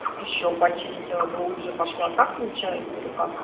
ещё почистила глубже пошла так получается